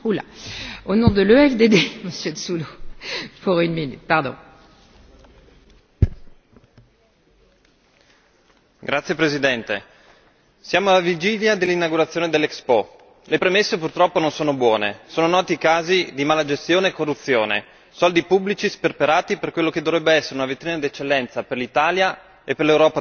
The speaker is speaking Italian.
Signora Presidente, onorevoli colleghi, siamo alla vigilia dell'inaugurazione dell'Expo, le premesse purtroppo non sono buone. Sono noti i casi di malagestione e corruzione, soldi pubblici sperperati per quella che dovrebbe essere una vetrina d'eccellenza per l'Italia e per l'Europa tutta.